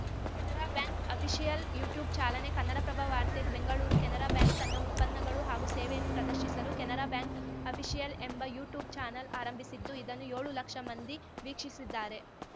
Canara bank official YouTube ಚಾಲನೆ ಕನ್ನಡಪ್ರಭ ವಾರ್ತೆ Bengaluru Canara bank ತನ್ನ ಉತ್ಪನ್ನಗಳು ಹಾಗೂ ಸೇವೆಯನ್ನು ಪ್ರದರ್ಶಿಸಲು ಕೆನರಾ ಬ್ಯಾಂಕ್‌ ಅಫಿಷಿಯಲ್‌ ಎಂಬ ಯುಟ್ಯೂಬ್‌ ಚಾನಲ್‌ ಆರಂಭಿಸಿದ್ದು ಇದನ್ನು ಯೋಳು ಲಕ್ಷ ಮಂದಿ ವೀಕ್ಷಿಸಿದ್ದಾರೆ